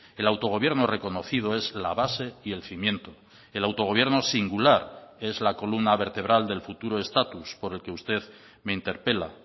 el autogobierno reconocido es la base y el cimiento el autogobierno singular es la columna vertebral del futuro estatus por el que usted me interpela